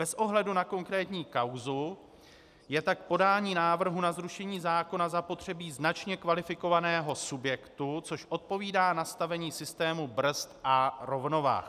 Bez ohledu na konkrétní kauzu je tak k podání návrhu na zrušení zákona zapotřebí značně kvalifikovaného subjektu, což odpovídá nastavení systému brzd a rovnovah.